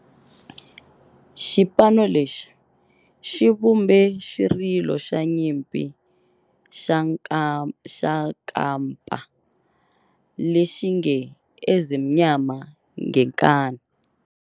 Xipano lexi xi vumbe xirilo xa nyimpi xa kampa lexi nge 'Ezimnyama Ngenkani'.